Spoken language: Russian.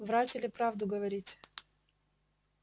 врать или правду говорить